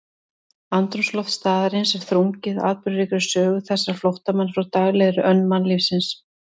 Andrúmsloft staðarins er þrungið atburðaríkri sögu þessara flóttamanna frá daglegri önn mannlífsins.